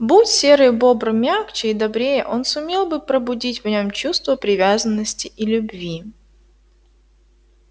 будь серый бобр мягче и добрее он сумел бы пробудить в нём чувство привязанности и любви